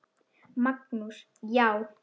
Magnús: Já.